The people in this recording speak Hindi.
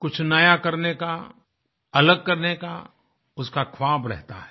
कुछ नया करने का अलग करने का उसका ख्वाब रहता है